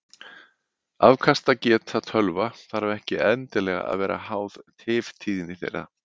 Afkastageta tölva þarf ekki endilega að vera háð tiftíðni þeirra.